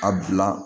A bila